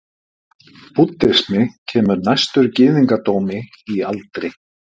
Búddismi kemur næstur gyðingdómi í aldri.